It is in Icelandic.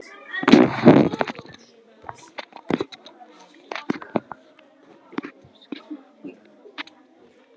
Það er oft glatt á hjalla og skrafað fram eftir öllu.